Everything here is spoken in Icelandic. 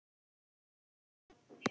Gangi þér allt í haginn, Nadia.